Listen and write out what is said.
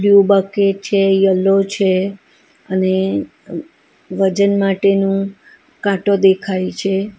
Blue bucket છે yellow છે અને વજન માટેનું કાંટો દેખાય છે.